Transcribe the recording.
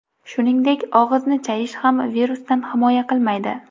Shuningdek, og‘izni chayish ham virusdan himoya qilmaydi.